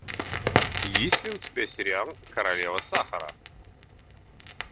есть ли у тебя сериал королева сахара